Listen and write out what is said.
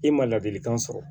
I ma ladilikan sɔrɔ